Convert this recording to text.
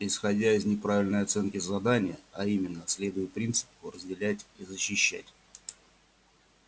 исходя из неправильной оценки задания а именно следуя принципу разделять и защищать